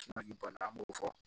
an b'o fɔ